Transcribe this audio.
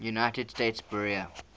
united states bureau